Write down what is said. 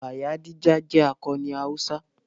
Bayadija jẹ́ akọni Hausa.